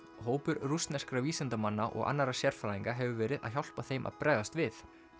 hópur rússneskra vísindamanna og annarra sérfræðinga hefur verið að hjálpa þeim að bregðast við